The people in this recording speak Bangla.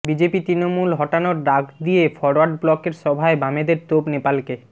বিজেপি তৃণমূল হটানোর ডাক দিয়ে ফরওয়ার্ড ব্লকের সভায় বামেদের তোপ নেপালকে